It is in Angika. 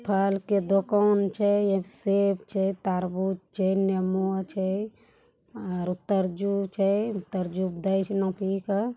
फल के दुकान छे एक सेब छे‌ तरबूज छे‌ नींबू छे और तरबूज छे --